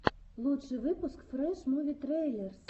лучший выпуск фрэш муви трейлерс